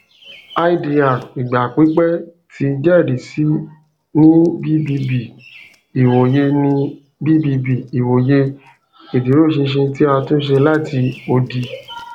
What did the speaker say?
idr igba pipẹ ti jẹrisi ni bbb iwoye ni bbb iwoye iduroṣinṣin ti a tunṣe lati odi